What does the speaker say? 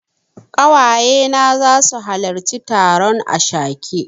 Ƙawaye na zasu halarci taron ashake.